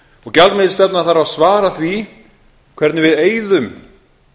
og gjaldmiðilsstefna þarf að svara því hvernig við eyðum